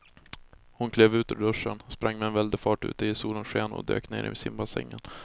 Hon klev ur duschen, sprang med väldig fart ut i solens sken och dök ner i simbassängen.